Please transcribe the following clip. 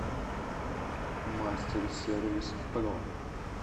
мастерсервис про